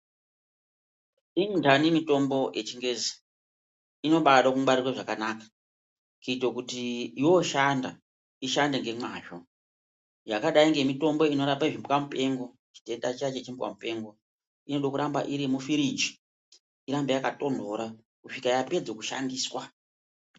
Inhani mitombo yechingezi inobade kubatwe zvakanaka kuite kuti yooshanda ishande ngomwazvo. Yakadai ngemitombo inorape zvimbwa mupengo inode kuramba iri mufiriji irambe yakatonhorera kusvika yapedza kushandiswa.